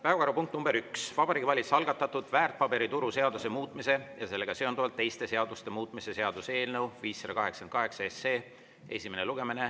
Päevakorrapunkt nr 1: Vabariigi Valitsuse algatatud väärtpaberituru seaduse muutmise ja sellega seonduvalt teiste seaduste muutmise seaduse eelnõu 588 esimene lugemine.